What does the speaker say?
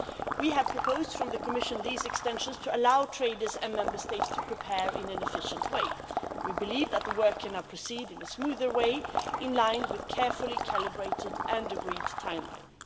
We have proposed these extensions to the Commission to allow traders and Member States to prepare in an efficient way. We believe that the work can now proceed in a smoother way in line with a carefully calibrated and agreed timeline.